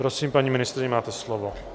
Prosím, paní ministryně, máte slovo.